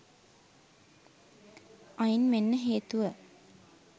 අයින් වෙන්න හේතුව